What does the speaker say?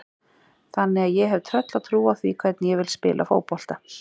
Þannig að ég hef tröllatrú á því hvernig ég vil spila fótbolta.